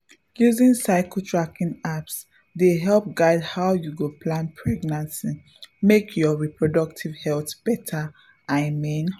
using cycle tracking apps dey guide how you go plan pregnancy make your reproductive health better i mean.